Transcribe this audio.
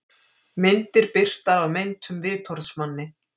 Myndir birtar af meintum vitorðsmanni